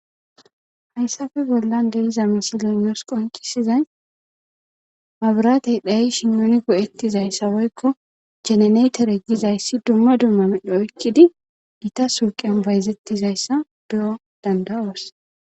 hayssafe bollan deiza misile nusi qoncisizay mabiratey dhayishi nuni go7ettizaysa woykko jeneneetere gizayssi dumma dumma midho oykkidi gita suuqean bayzettizayssa be7o dandawoos